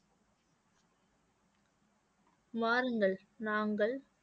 வாருங்கள் நாங்கள்